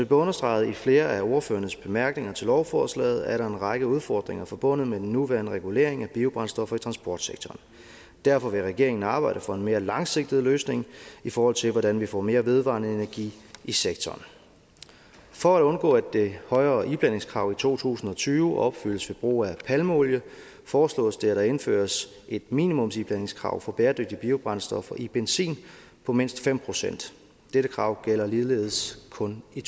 understreget i flere af ordførernes bemærkninger til lovforslaget er der en række udfordringer forbundet med den nuværende regulering af biobrændstoffer i transportsektoren og derfor vil regeringen arbejde for en mere langsigtet løsning i forhold til hvordan vi får mere vedvarende energi i sektoren for at undgå at det højere iblandingskrav i to tusind og tyve opfyldes ved brug af palmeolie foreslås det at der indføres et minimumsiblandingskrav for bæredygtige biobrændstoffer i benzin på mindst fem procent dette krav gælder ligeledes kun i